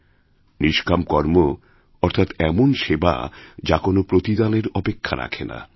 নিষ্কাম কর্ম অর্থাৎ এমন সেবা যা কোন প্রতিদানের অপেক্ষা রাখে না